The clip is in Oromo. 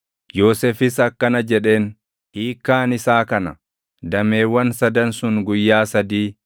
Yoosefis akkana jedheen; “Hiikkaan isaa kana; dameewwan sadan sun guyyaa sadii.